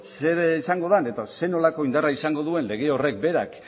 zer izango den edo zer nolako indarra izango duen lege horrek berak